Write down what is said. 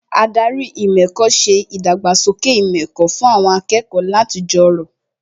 Ádárì ìmọ̀ ẹ̀kọ́ ṣe ìdàgbàsókè ìmọ̀ ẹ̀kọ́ fún àwọn akẹ́kọ̀ọ́ láti jọrọ̀